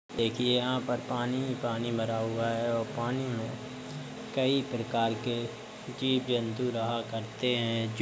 देखिये यहाँ पर पानी ही पानी भरा हुआ है और पानी में कई प्रकार के जीव जंतु रहा करते हैं। जो --